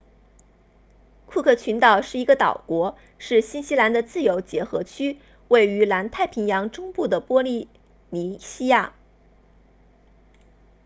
库克群岛是一个岛国是新西兰的自由结合区位于南太平洋中部的波利尼西亚